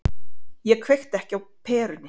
Ég kveikti ekki á perunni.